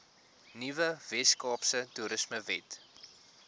nuwe weskaapse toerismewet